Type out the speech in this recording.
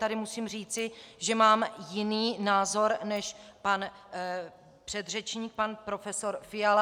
Tady musím říci, že mám jiný názor než pan předřečník pan profesor Fiala.